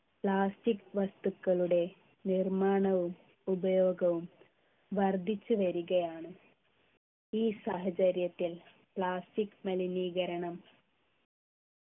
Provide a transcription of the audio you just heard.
plastic വസ്തുക്കളുടെ നിർമ്മാണവും ഉപയോഗവും വർദ്ധിച്ചു വരികയാണ് ഈ സാഹചര്യത്തിൽ plastic മലിനീകരണം